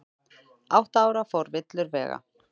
Átta ára fór villur vega